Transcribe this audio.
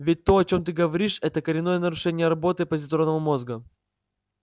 ведь то о чем ты говоришь это коренное нарушение работы позитронного мозга